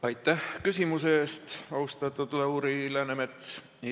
Aitäh küsimuse eest, austatud Lauri Läänemets!